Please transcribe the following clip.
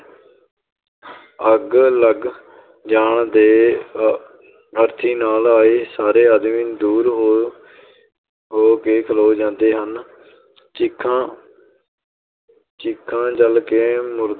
ਅੱਗ ਲੱਗ ਜਾਣ ਦੇ ਅ~ ਅਰਥੀ ਨਾਲ ਆਏ ਸਾਰੇ ਆਦਮੀ ਦੂਰ ਹੋ ਹੋ ਕੇ ਖਲੋ ਜਾਂਦੇ ਹਨ ਚਿਖਾ ਚਿਖਾ ਜਲ ਕੇ